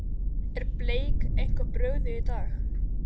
Er Bleik eitthvað brugðið í dag?